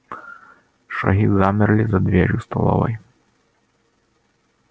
шаги замерли за дверью столовой